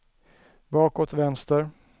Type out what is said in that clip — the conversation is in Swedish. bakåt vänster